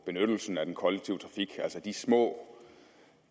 benyttelsen af den kollektive trafik altså de små